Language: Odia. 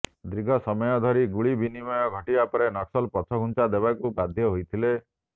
ଦୀର୍ଘ ସମୟ ଧରି ଗୁଳି ବିନମୟ ଘଟିବା ପରେ ନକ୍ସଲ ପଛଘୁଂଚା ଦେବାକୁ ବାଧ୍ୟ ହୋଇଥିଲେ